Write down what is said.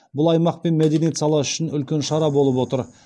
бұл аймақ пен мәдениет саласы үшін үлкен шара болып отыр